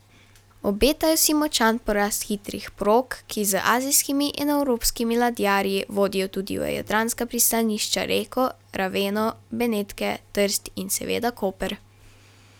Obetajo si močan porast hitrih prog, ki z azijskimi in evropskimi ladjarji vodijo tudi v jadranska pristanišča Reko, Raveno, Benetke, Trst in seveda Koper.